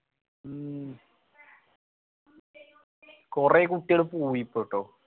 മ്മ് കൊറേ കുട്ടികള് പോയി ഇപ്പോ ട്ടോ